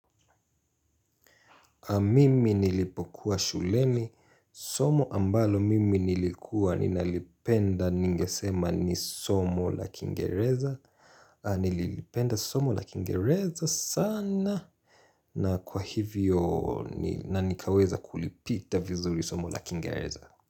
Mimi nilipokuwa shuleni, somo ambalo mimi nilikuwa ninalipenda ningesema ni somo la kingeleza Nilipenda somo la kingeleza sana na kwa hivyo na nikaweza kulipita vizuri somo la kingeleza.